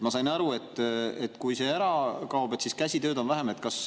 Ma sain aru, et kui see ära kaob, siis käsitsitööd on vähem.